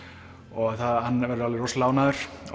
og hann verður alveg rosalega ánægður